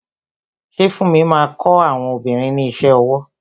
Ṣé funmi máa kọ àwọn obìnrin ní iṣẹ́ ọwọ?